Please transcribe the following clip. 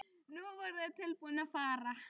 Nú voru þeir tilbúnir að fara.